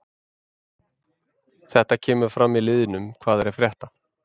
Þetta kemur fram í liðnum hvað er að frétta?